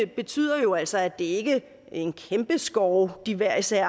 betyder jo altså at det ikke er en kæmpe skov de hver især